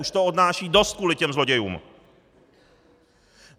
Už to odnášejí dost kvůli těm zlodějům!